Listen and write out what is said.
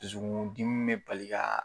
Dusuku dimi be bali ka